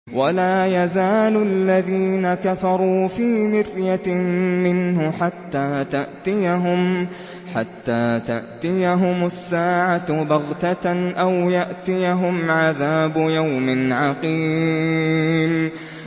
وَلَا يَزَالُ الَّذِينَ كَفَرُوا فِي مِرْيَةٍ مِّنْهُ حَتَّىٰ تَأْتِيَهُمُ السَّاعَةُ بَغْتَةً أَوْ يَأْتِيَهُمْ عَذَابُ يَوْمٍ عَقِيمٍ